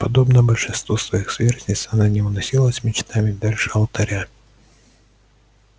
подобно большинству своих сверстниц она не уносилась мечтами дальше алтаря